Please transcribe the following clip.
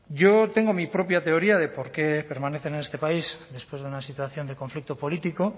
yo tengo mi propia teoría de por qué permanecen en este país después de una situación de conflicto político